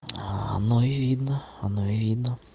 оно видно оно видно